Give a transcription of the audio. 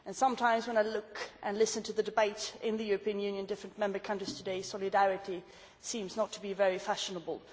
Sometimes when I look and listen to the debate in the European Union, in different Member States today, solidarity does not seem to be very fashionable.